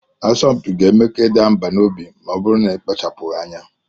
Asọmpi ga-eme ka ị daa mbà n'obi ma ọ bụrụ na ị kpachapụghị anya